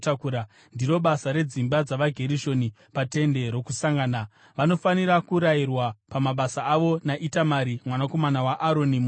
Ndiro basa redzimba dzavaGerishoni paTende Rokusangana. Vanofanira kurayirwa pamabasa avo naItamari mwanakomana waAroni muprista.